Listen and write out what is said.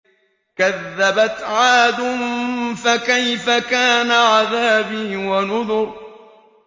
كَذَّبَتْ عَادٌ فَكَيْفَ كَانَ عَذَابِي وَنُذُرِ